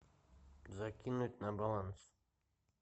закинуть на баланс